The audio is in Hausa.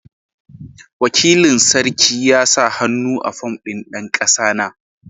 Wakilin sarki ya sa hannu a fom ɗin dan kasana.